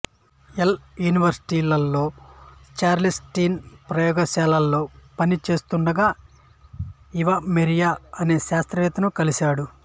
L యూనివర్శిటీలో Charles Steven ప్రయోగశాలలో పని చేస్తుండగా ఈవమెరియ అనే శాస్త్రవేత్తను కలిసాడు